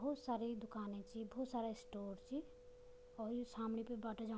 भोत सारी दुकाने छी भोत सारा स्टोर च और यु सामने पे बाटा जा --